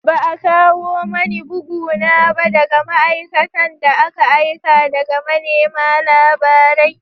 Ba a kawo mani bugu na ba daga ma’aikatan da aka aika daga manema labarai